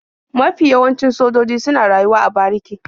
Mafi yawancin sojoji suna rayuwa a bariki.